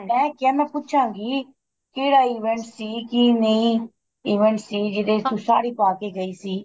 ਮੈ ਕਿਆ ਮੈਂ ਪੁੱਛਾਗੀ ਕਿਹੜਾ event ਸੀ ਕੀ ਨਹੀਂ event ਸੀ ਜਿਹਦੇ ਚ ਤੂੰ ਸਾੜੀ ਪਾ ਕੇ ਗਈ ਸੀ